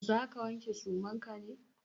Za ka wanke suman ka ne?